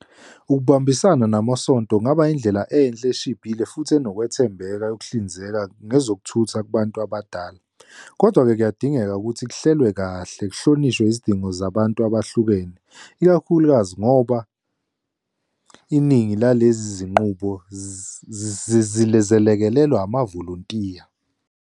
Ukubambisana namasonto kungaba indlela enhle eshibhile futhi enokwethembeka yokuhlinzeka ngezokuthutha kubantu abadala. Kodwa-ke kuyadingeka ukuthi kuhlelwe kahle kuhlonishwe izidingo zabantu abahlukene, ikakhulukazi ngoba iningi lalezi zinqubo zilekelelwa amavolontiya.